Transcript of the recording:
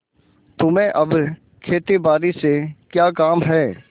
तुम्हें अब खेतीबारी से क्या काम है